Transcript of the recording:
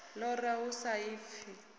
u lora hu sa ḓifhi